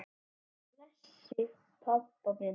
Guð blessi pabba minn.